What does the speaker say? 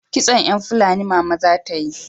Kitson yan Fulani mama za ta yi